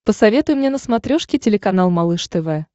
посоветуй мне на смотрешке телеканал малыш тв